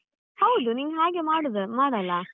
ಹೌದು ನೀನು ಹಾಗೆ ಮಾಡುದ್ ಮಾಡಲ್ಲಾ.